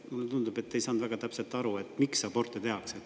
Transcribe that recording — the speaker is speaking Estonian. Mulle tundub, et te ei saanud väga täpselt aru, miks aborte tehakse.